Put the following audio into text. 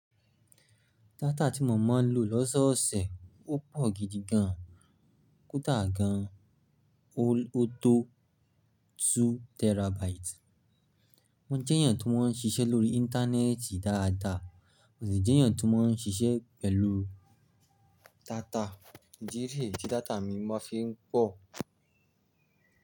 Data tí mọ̀ ń lọ lọ́sọ̀ọ̀sẹ̀, ó pọ̀ gidi gan, kódà gan. O tó two terabytes. Mo jẹ èèyàn tó máa ń ṣíṣe lórí internet dáa dáa. Mo sì jẹ́ èèyàn tó máa ń ṣiṣẹ́ pẹ̀lú data. Ìdí nìyẹn tí data mi máa fi ń pọ̀.